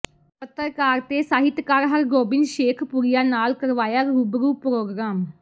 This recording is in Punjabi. ਪੱਤਰਕਾਰ ਤੇ ਸਾਹਿਤਕਾਰ ਹਰਗੋਬਿੰਦ ਸ਼ੇਖਪੁਰੀਆ ਨਾਲ ਕਰਵਾਇਆ ਰੂਬਰੂ ਪ੍ਰੋਗਰਾਮ